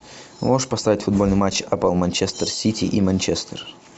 можешь поставить футбольный матч апл манчестер сити и манчестер